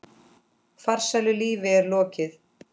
Farsælu lífi er lokið.